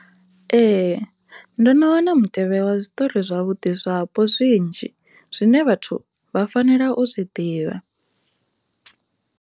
Ee, ndo no wana mutevhe wa zwiṱori zwavhuḓi zwapo zwinzhi zwine vhathu vha fanela u zwi ḓivha.